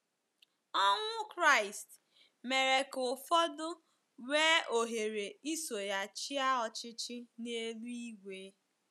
Ọnwụ Kraịst mere ka ụfọdụ nwee ohere iso ya chịa ọchịchị n’eluigwe.